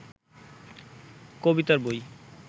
কবিতার বই